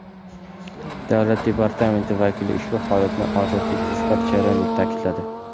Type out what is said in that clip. Davlat Departamenti vakili ushbu holatni odatiy tezkor jarayon deb ta’kidladi.